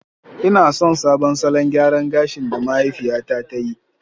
Ina son sabon salon gyaran gashi da mahaifiyata ta yi